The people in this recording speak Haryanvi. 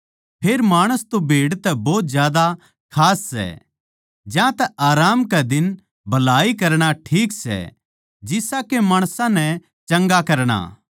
फेर माणस तो भेड़ तै भोत ज्यादा खास सै ज्यांतै आराम कै दिन भलाई करणा ठीक सै जिसा के माणसां नै चंगा करणा